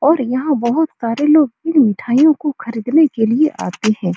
और यहाँ बहोत सारे लोग इन मिठाइयों को खरीदने के लिए आते हैं।